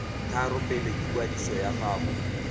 tharo pele ikwadiso ya gago